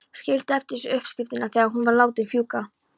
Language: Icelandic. Skildi eftir sig uppskriftina þegar hún var látin fjúka.